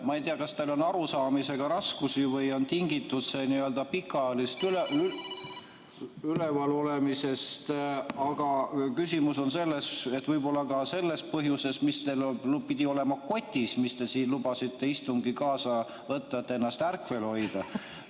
Ma ei tea, kas teil on arusaamisega raskusi või on tingitud see pikaajalisest üleval olemisest, aga võib-olla ka sellest põhjusest, mis teil pidi olema kotis, mille te lubasite istungile kaasa võtta, et ennast ärkvel hoida.